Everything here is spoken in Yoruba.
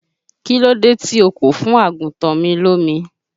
Kílódé tí o kò fún àgùntàn mi lómi?